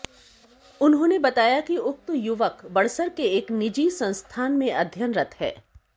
उन्होंनेे बताया कि उक्त युवक बड़सर के एक निजी संस्थान मंे अध्ययनरत है